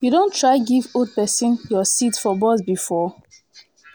you don try give old pesin your seat for bus before?